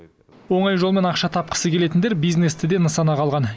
оңай жолмен ақша тапқысы келетіндер бизнесті де нысанаға алған